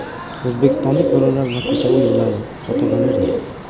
O‘zbekistonlik bolalar va ko‘cha o‘yinlari (fotogalereya).